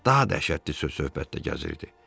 Daha dəhşətli söhbət də gəzirdi.